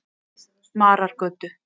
Marargötu